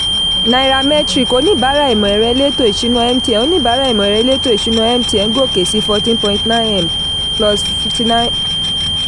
nairametrics oníbàárà ìmọ̀-ẹ̀rọ-elétò-ìsúná mtn oníbàárà ìmọ̀-ẹ̀rọ-elétò-ìsúná mtn gòkè sí forteen point nine m plus fifty nine